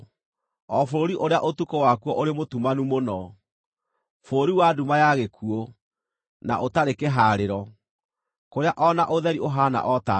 o bũrũri ũrĩa ũtukũ wakuo ũrĩ mũtumanu mũno, bũrũri wa nduma ya gĩkuũ, na ũtarĩ kĩhaarĩro, kũrĩa o na ũtheri ũhaana o ta nduma.”